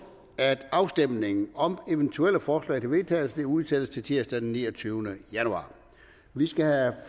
at afstemning om eventuelle forslag til vedtagelse udsættes til tirsdag den niogtyvende januar vi skal have